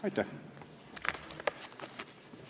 Aitäh!